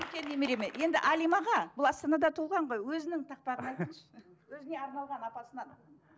немереме енді әлимаға бұл астанада туылған ғой өзінің тақпағын айтыңызшы өзіне арналған апасынан